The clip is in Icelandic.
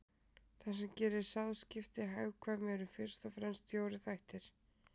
Það sem gerir sáðskipti hagkvæm eru fyrst og fremst fjórir þættir.